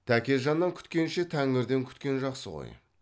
тәкежаннан күткенше тәңірден күткен жақсы ғой